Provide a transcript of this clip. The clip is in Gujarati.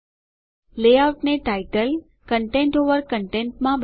લેઆઉટને ટાઈટલ શીર્ષક કંટેંટ ઓવર કંટેંટ માં બદલો